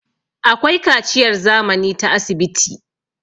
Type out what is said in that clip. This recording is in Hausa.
akwai kaciyar zamani ta asibiti